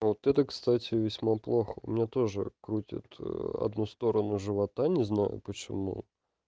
вот это кстати весьма плохо у меня тоже крутит одну сторону живота не знаю почему